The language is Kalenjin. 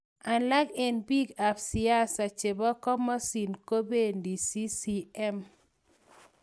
Alek en pik ap siasa chepo komosin kopeni ccm